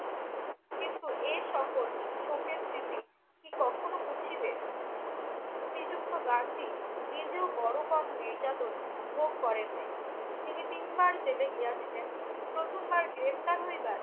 কিন্তু এ সকল শোকের স্মৃতি কি কখনও মুছিবে? শ্রীযুক্ত গান্ধী নিজেও বড় কম নির্যাতন ভোগ করেন নাই। তিনি তিনবার জেলে গিয়াছিলেন, প্রথমবার গ্রেফতার হইবার